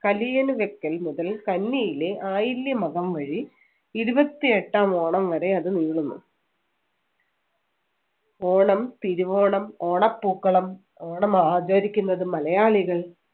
കലിയിണ വെക്കൽ മുതൽ കന്നിയിലെ ആയില്യം മകം വരെ ഇരുപത്തിയെട്ടാം ഓണം വരെ അത് നീളുന്നു. ഓണം, തിരുവോണം, ഓണപ്പൂക്കളം ഓണമാചരിക്കുന്നത് മലയാളികൾ